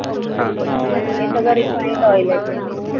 हा हे सगळं refined oil आहेत ना